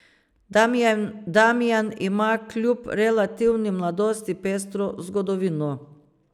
Damijan ima kljub relativni mladosti pestro zgodovino.